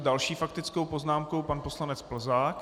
S další faktickou poznámkou pan poslanec Plzák.